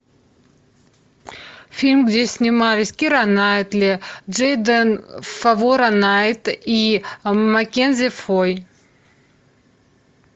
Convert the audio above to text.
фильм где снимались кира найтли джейден фовора найт и маккензи фой